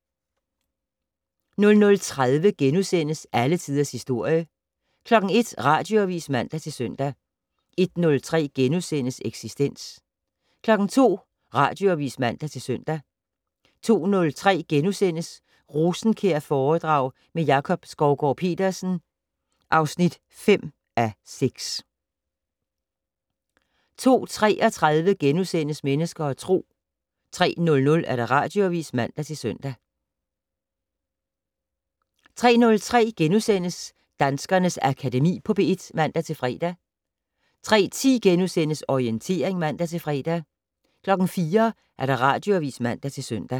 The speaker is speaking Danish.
00:30: Alle Tiders Historie * 01:00: Radioavis (man-søn) 01:03: Eksistens * 02:00: Radioavis (man-søn) 02:03: Rosenkjærforedrag med Jakob Skovgaard-Petersen (5:6)* 02:33: Mennesker og Tro * 03:00: Radioavis (man-søn) 03:03: Danskernes Akademi på P1 *(man-fre) 03:10: Orientering *(man-fre) 04:00: Radioavis (man-søn)